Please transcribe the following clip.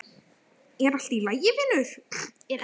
Er ekki allt í lagi vinur?